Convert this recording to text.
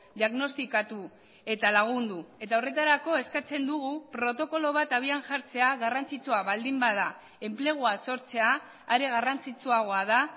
diagnostikatu eta lagundu eta horretarako eskatzen dugu protokolo bat abian jartzea garrantzitsua baldin bada enplegua sortzea are garrantzitsuagoa da